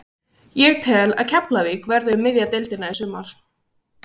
Ég tel að Keflavík verði um miðja deildina í sumar.